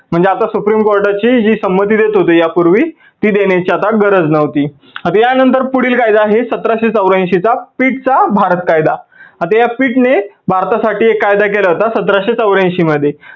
म्हणजे आता supreme कोर्टाची जी संमती देत होते या पूर्वी ती देण्याची आता गरज नव्हती. आता या नंतर पुढील कायदा आहे सतराशे चौऱ्यांशी चा pitt चा भारत कायदा. आता या pitt ने भारतासाठी एक कायदा केला होता सतराशे चौऱ्यांशी मध्ये.